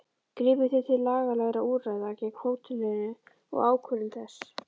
Grípið þið til lagalegra úrræða gegn hótelinu og ákvörðun þess?